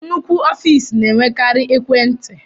Nnukwu ọfiisi na-enwekari ekwentị.